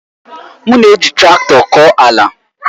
M na-eji traktọ kọọ ala.